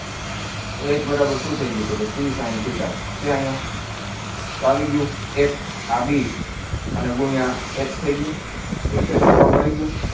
તો h બરાબર શું થઈ ગયુ C sine theta છે અહીંયા તો આવી ગયુ એક આ બી અને ગુણિયા h થઈ ગયુ તો શેત્રફ્લ મળી ગયું